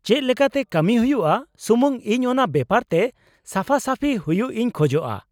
ᱪᱮᱫ ᱞᱮᱠᱟᱛᱮ ᱠᱟᱹᱢᱤ ᱦᱩᱭᱩᱜᱼᱟ, ᱥᱩᱢᱩᱝ ᱤᱧ ᱚᱱᱟ ᱵᱮᱯᱟᱨ ᱛᱮ ᱥᱟᱯᱦᱟ ᱥᱟᱯᱷᱤ ᱦᱩᱭᱩᱜ ᱤᱧ ᱠᱷᱚᱡᱚᱜᱼᱟ ᱾